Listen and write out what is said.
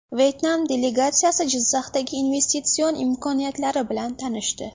Vyetnam delegatsiyasi Jizzaxdagi investitsion imkoniyatlari bilan tanishdi.